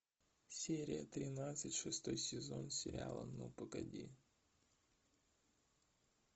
серия тринадцать шестой сезон сериала ну погоди